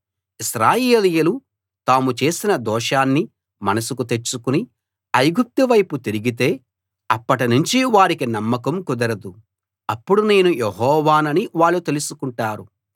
ఇశ్రాయేలీయులు తాము చేసిన దోషాన్ని మనసుకు తెచ్చుకుని ఐగుప్తు వైపు తిరిగితే అప్పటినుంచి వారికి నమ్మకం కుదరదు అప్పుడు నేను యెహోవానని వాళ్ళు తెలుసుకుంటారు